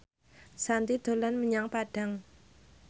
Shanti dolan menyang Padang